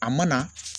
A mana